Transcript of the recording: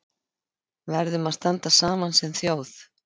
Verðum að standa saman sem þjóð